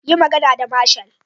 Yi magana da marshal.